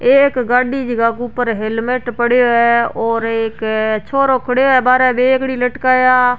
एक गाड़ी जीका के ऊपर हेलमेट पड़ो है और एक छोरो खड़िया है बार बेगडी लटकाया।